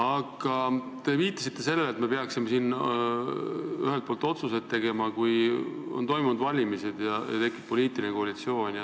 Aga te viitasite sellele, et me peaksime siin tegema otsuse ajaks, kui on toimunud valimised ja tekib uus poliitiline koalitsioon.